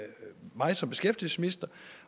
mig som beskæftigelsesminister